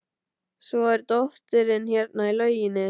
Svo er dóttirin hérna í lauginni.